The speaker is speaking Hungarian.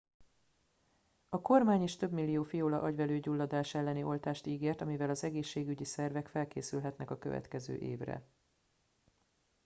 a kormány is több millió fiola agyvelőgyulladás elleni oltást ígért amivel az egészségügyi szervek felkészülhetnek a következő évre